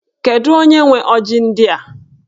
Kedu onye nwe ọjị ndị a?